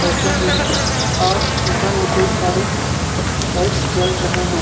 बैठे हुए है और ऊपर में कई सारे लाइटस जल रहे है।